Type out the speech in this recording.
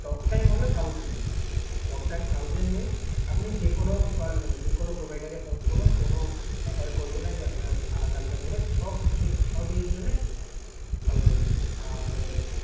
talktime হল thousand minutes, talktime thousand minutes । আপনি যেকোনো call মানে যেকোনো provider এ phone করুন কোন matter করবে না যে, আপনার আলাদা আলাদা করে। সব সব ইয়ের জন্যে thousand minute আর